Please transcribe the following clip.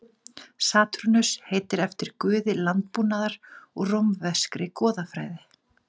Satúrnus heitir eftir guði landbúnaðar úr rómverskri goðafræði.